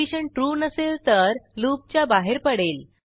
condition true नसेल तर लूपच्या बाहेर पडेल